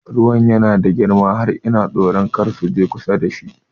Ruwan yana da girma har ina tsoro kada su je kusa da shi